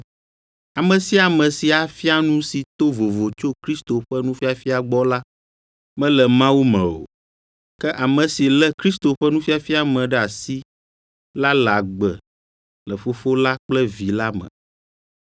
Ame sia ame si afia nu si to vovo tso Kristo ƒe nufiafia gbɔ la, mele Mawu me o. Ke ame si lé Kristo ƒe nufiafia me ɖe asi la le agbe le Fofo la kple Vi la me.